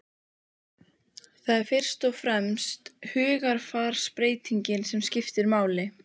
Það er fyrst og fremst hugarfarsbreytingin sem skiptir máli.